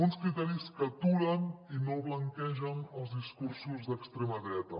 uns criteris que aturen i no blanquegen els discursos d’extrema dreta